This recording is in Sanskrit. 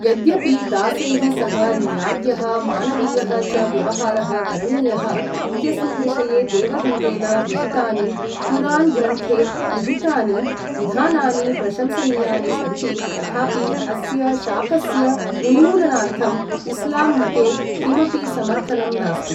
यद्यपि दासैः सह न्याय्यः मानवीयः च व्यवहारः करणीयः इत्यस्मिन् विषये देवदूतेन विहितानि, कुरान् ग्रन्थे निहितानि विधानानि प्रशंसनीयानि सन्ति, तथापि अस्य शापस्य उन्मूलनार्थम् इस्लाम् मते किमपि समर्थनं नास्ति।